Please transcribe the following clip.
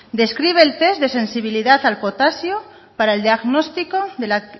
describe el test de sensibilidad al potasio para el diagnóstico de la